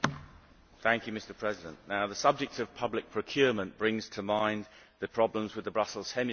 Mr President, the subject of public procurement brings to mind the problems with the Brussels hemicycle.